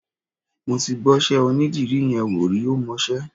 Mo ti gbọ́ṣẹ́ onídìrí yẹn wò rí, ó mọṣẹ́.